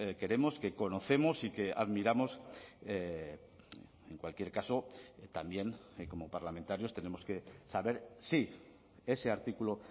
queremos que conocemos y que admiramos en cualquier caso también como parlamentarios tenemos que saber si ese artículo